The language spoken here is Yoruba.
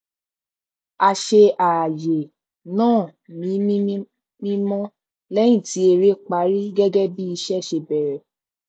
a ṣe ààyè náà ní mímọ lẹyìn tí eré parí gẹgẹ bí ìṣe ṣe bèrè